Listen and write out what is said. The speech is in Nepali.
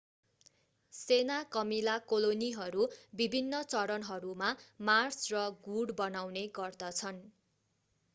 सेना कमिला कोलोनीहरू विभिन्न चरणहरूमा मार्च र गुँड बनाउने गर्दछन्